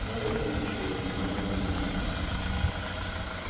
молод ты ещё и многого не знаешь